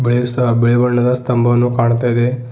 ಬಿಳಿಸ್ತ ಬಿಳಿ ಬಣ್ಣದ ಸ್ತಂಭವನ್ನು ಕಾಣ್ತಾ ಇದೆ.